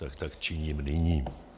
Takže tak činím nyní.